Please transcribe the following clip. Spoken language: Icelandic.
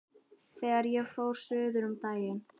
Þegar ég fór suður um daginn.